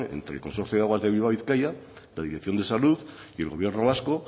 entre el consorcio de aguas de bilbao bizkaia la dirección de salud y el gobierno vasco